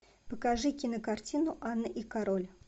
покажи кинокартину анна и король